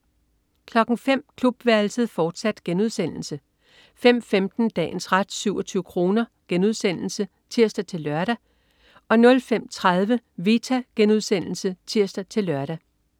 05.00 Klubværelset, fortsat* 05.15 Dagens ret 27 kr* (tirs-lør) 05.30 Vita* (tirs-lør)